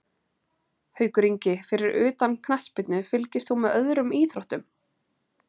Haukur Ingi Fyrir utan knattspyrnu, fylgist þú með öðrum íþróttum?